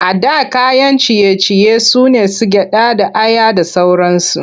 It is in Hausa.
A da kayan ciye-ciye su ne su gyaɗa da aya da sauransu.